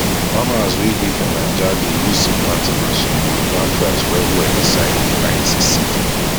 farmers were dey for naija dey use seed planting machine to dey plant rice well well inside rice seed